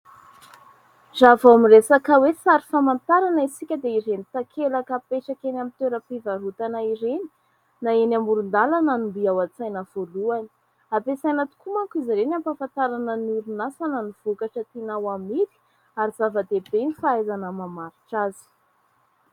Raha vao miresaka hoe sary famantarana isika dia ireny takelaka apetraka eny amin'ny toeram-pivarotana ireny na eny amoron-dalana no mby ao an-tsaina voalohany. Ampiasaina tokoa manko izy ireny ampahafantarana ny orinasa na ny vokatra tiana ho amidy ary zava-dehibe ny fahaizana mamaritra azy.